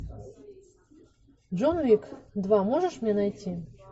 джон уик два можешь мне найти